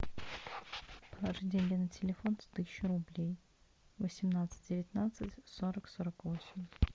положить деньги на телефон тысячу рублей восемнадцать девятнадцать сорок сорок восемь